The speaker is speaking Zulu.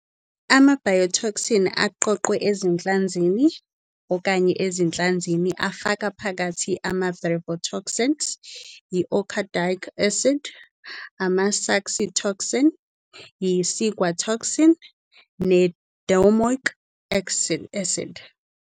Ama-biotoxin aqoqwe ezinhlanzini okanye ezinhlanzini afaka phakathi ama- brevetoxins, i- okadaic acid, ama- saxitoxin, i- ciguatoxin ne- domoic acid.